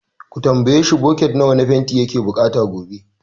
Ka tambayi shi, bucket nawa na fanti yake bukata gobe.